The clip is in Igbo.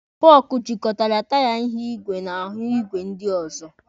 Fọọkụ jịkọtara taya ihu igwe na ahụ ìgwè ndị ọzọ.